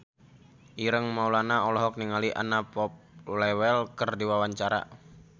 Ireng Maulana olohok ningali Anna Popplewell keur diwawancara